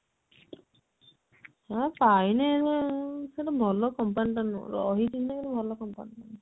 ହଁ ପାଇନି ଏବେ ସେଟା ଭଲ company ଟା ନୁହଁ ରହିଛି ଯେ ହେଲେ ଭଲ company ଟା ନୁହଁ